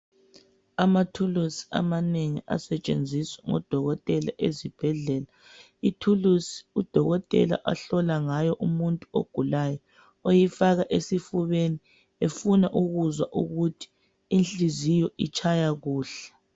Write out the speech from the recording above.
Amathulusi amanengi asetshenziswa ngodokotela esibhedlela. Ithulusi udokotela ahlola ngayo umuntu ogulayo oyifaka esifubeni efuna ukuzwa ukuthi inhliziyo itshaya kuhle.